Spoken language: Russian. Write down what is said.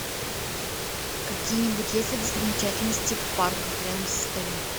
какие нибудь есть ли достопримечательности в парках рядом с отелем